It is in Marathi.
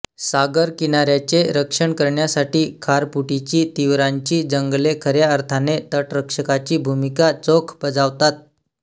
सागरकिनाऱ्याचे रक्षण करण्यासाठी खारफुटीचीतिवरांची जंगले खऱ्या अर्थाने तटरक्षकाची भूमिका चोख बजावतात